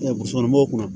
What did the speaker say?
bɔgɔsukɔnɔmɔgɔw kunna